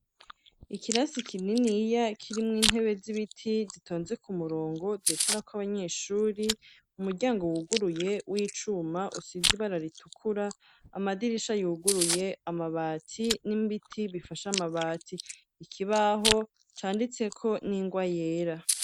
Ikirasi kininiya, kirimwo intebe z'ibiti, zitonze ku murongo, zicarako abanyeshuri; umuryango wuguruye w'icuma, usize ibara ritukura, amadirisha yuguruye, amabati n'ibiti bifashe amabati, ikibaho canditseko n'ingwa yera.